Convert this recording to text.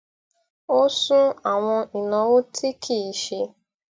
ó sún àwọn ìnáwó tí kì í ṣe